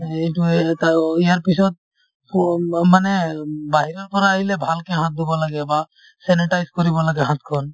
এইটোয়ে এটাও ইয়াৰ পিছত সো উম উম মানে উব বাহিৰৰ পৰা আহিলে ভালকে হাত ধুব লাগে বা sanitize কৰিব লাগে হাতখন